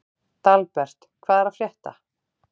Dalbert, hvað er að frétta?